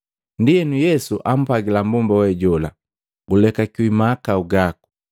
Ndienu Yesu ampwagila mmbomba we jola, “Gulekakiwi mahakau gaku.”